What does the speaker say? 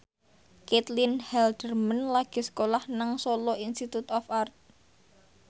Caitlin Halderman lagi sekolah nang Solo Institute of Art